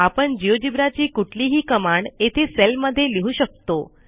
आपण जिओजेब्रा ची कुठलीही कमांड येथे सेलमध्ये लिहू शकतो